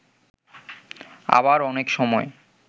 আবার অনেক সময়